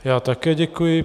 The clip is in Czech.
Já také děkuji.